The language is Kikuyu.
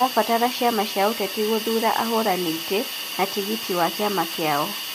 ũrabatara ciama cia ũteti gũthuura ahũranĩri itĩ na tigiti wa kĩama kiao,